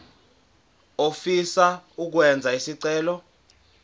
ofisa ukwenza isicelo